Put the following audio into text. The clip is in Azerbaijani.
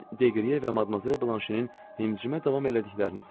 Mən Deqriyə və Madmazel Bilanşinin həmçinin davam elədiklərini sezdim.